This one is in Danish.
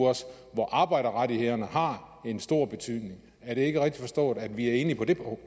hvor arbejderrettighederne har en stor betydning er det ikke rigtigt forstået at vi er enige på det